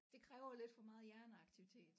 Det kræver lidt for meget hjerneaktivitet